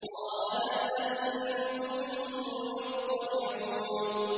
قَالَ هَلْ أَنتُم مُّطَّلِعُونَ